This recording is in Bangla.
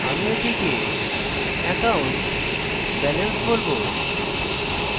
আমি এটিকে accountbalance বলবো